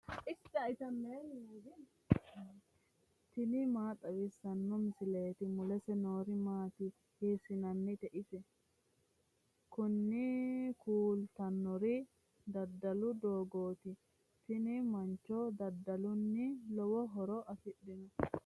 tini maa xawissanno misileeti ? mulese noori maati ? hiissinannite ise ? tini kultannori daddalu dooggaati. tini mancho daddalunni lowo horo afidhanno.